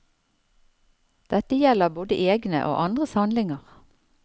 Dette gjelder både egne og andres handlinger.